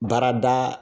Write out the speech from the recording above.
Baarada